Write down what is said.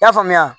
I y'a faamuya